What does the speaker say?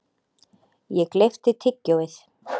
Ég gleypti tyggjóið.